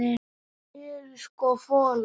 Við erum sko folar.